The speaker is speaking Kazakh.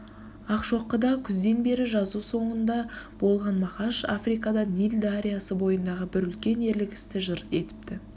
ақшокыда күзден бері жазу соңында болған мағаш африкада нил дариясы бойындағы бір үлкен ерлік істі жыр етіпті